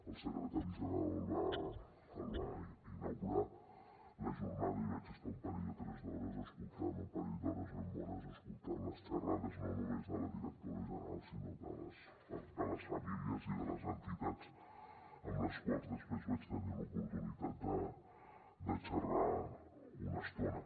el secretari general va inaugurar la jornada i vaig estar un parell d’hores ben bones escoltant les xerrades no només de la directora general sinó de les famílies i de les entitats amb les quals després vaig tenir l’oportunitat de xerrar una estona